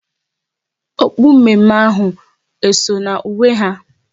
Okpu mme mme ahụ eso na uwe ha?